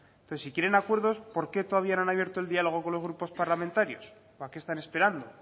entonces si quieren acuerdos porque todavía no han abierto el diálogo con los grupos parlamentarios o a qué están esperando